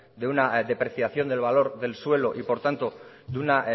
de una depreciación del valor del suelo y por tanto de una